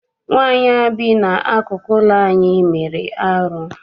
Nwaanyị a bi n'akụkụ ụlọ anyị mere arụ.